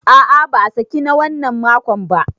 A a ba a saki na wannan makon ba.